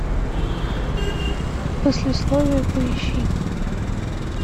послесловие поищи